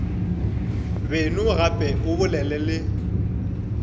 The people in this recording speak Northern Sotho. beno gape o bolele le